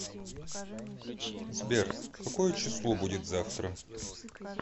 сбер какое число будит завтра